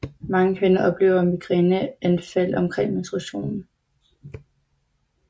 Mange kvinder oplever migræneanfald omkring menstruationen